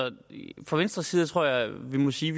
fra venstres side tror jeg vi må sige